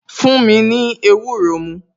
Fún mi ní ewúro mu